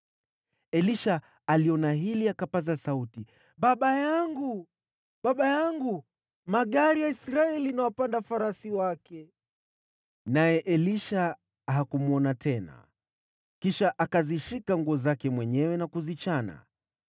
Elisha aliona hili, naye akapaza sauti, “Baba yangu! Baba yangu! Magari ya Israeli na wapanda farasi wake!” Naye Elisha hakumwona tena. Kisha akazishika nguo zake mwenyewe na kuzirarua.